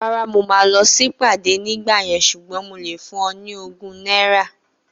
Rárá, mo máa lọ sí ìpàdé ní ìgbà yẹn ṣùgbọ́n mo lè fún o ní ogún náírà